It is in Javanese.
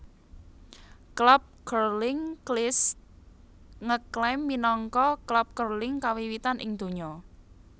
Klub Curling Kilsyth ngklaim minangka klub curling kawiwitan ing donya